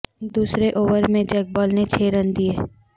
دوسرے اوور میں Jake Ball نے چھ رن دئے